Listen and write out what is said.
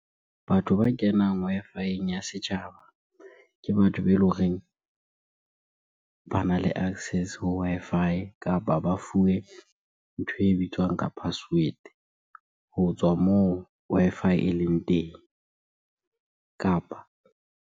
Batho ba kenang Wi-Fi-eng ya setjhaba ke batho be eleng horeng bana le access ho Wi-Fi kapa ba fuwe ntho e bitswang ka password ho tswa moo Wi-Fi e leng teng kapa.